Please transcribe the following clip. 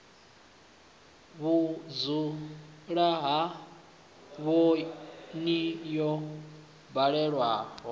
vhudzula ba oni yo baleaho